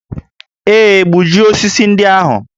Ee, gbujie osisi ndị ahụ